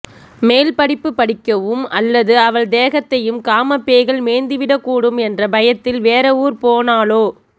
மேல் படிப்பு படிக்கவும் அல்லது அவள் தேகத்தையும் காமப்பேய்கள் மேய்ந்துவிடக்கூடும் என்ற பயத்தில் வேற ஊர் போனாலோ